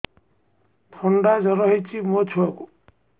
ଥଣ୍ଡା ଜର ହେଇଚି ମୋ ଛୁଆକୁ